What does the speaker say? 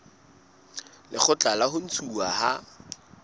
lekgotla la ho ntshuwa ha